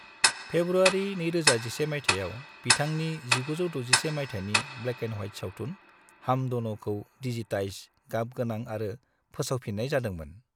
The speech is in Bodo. फेब्रुआरि 2011 मायथाइयाव, बिथांनि 1961 मायथाइनि ब्लेक-एन्द-ह्वाइत सावथुन "हम दोनो"खौ डिजीटाइज, गाब गोनां आरो फोसावफिननाय जादोंमोन।